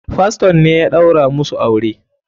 Faston ne ya ɗaura musu aure.